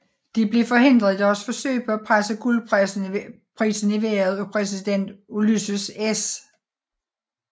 De blev forhindret i deres forsøg på at presse guldprisen i vejret af præsident Ulysses S